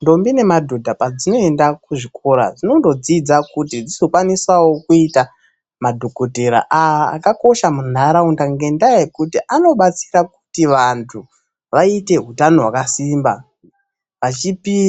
Ndombi nemadhodha padzinoenda kuzvikora dzinondodzidza kuti dzizokwanisawo kuita madhokotera akakosha munharaunda ngendaa yekuti anobatsira kuti vantu vaite utano hwakasimba